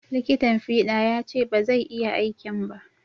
Liƙitan fiɗa ya ce ba zai iya aikin ba